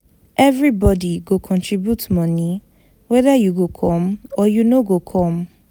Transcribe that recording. Everybodi go contribute moni weda you go come or you no go come.